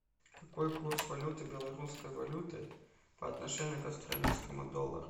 какой курс валюты белорусской валюты по отношению к австралийскому доллару